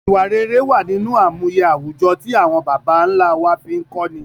Ìwà rere wa nínú àmúye àwùjọ ti awon bàbá nlá wa fi n kọ́ ni